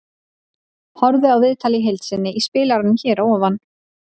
Horfðu á viðtalið í heild sinni í spilaranum hér fyrir ofan.